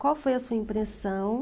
Qual foi a sua impressão?